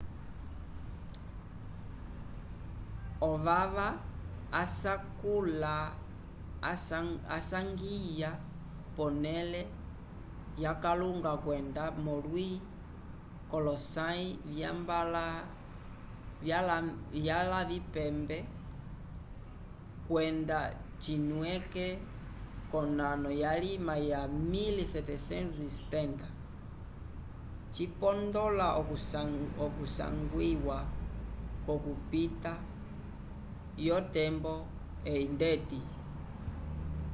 o vava asakula asangwya ponele yakalunga kwenda volwi colosay vya mbalavipembekwenda cinwike konano yalima ya 1770 cipondola okusagwiwa k'okupita yo tembo eyindeti